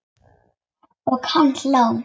Og hann hló.